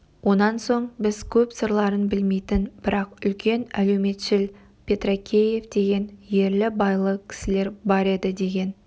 онан соң біз көп сырларын білмейтін бірақ үлкен әлеуметшіл петракеев деген ерлі-байлы кісілер бар еді деген